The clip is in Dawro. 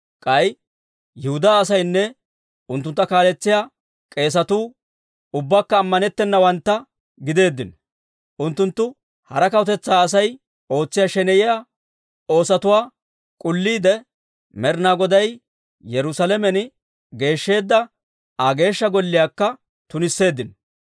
K'ay Yihudaa asaynne unttuntta kaaletsiyaa k'eesatuu, ubbakka ammanettennawantta gideeddino. Unttunttu hara kawutetsaa Asay ootsiyaa sheneyiyaa oosatuwaa k'ulliide, Med'inaa Goday Yerusaalamen geeshsheedda Aa Geeshsha Golliyaakka tunisseeddino.